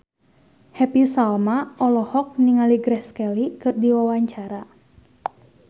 Happy Salma olohok ningali Grace Kelly keur diwawancara